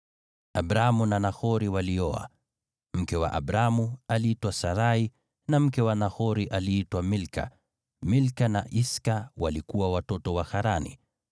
Abramu na Nahori walioa. Mke wa Abramu aliitwa Sarai, na mke wa Nahori aliitwa Milka; Milka na Iska walikuwa watoto wa Harani.